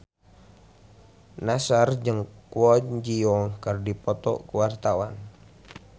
Nassar jeung Kwon Ji Yong keur dipoto ku wartawan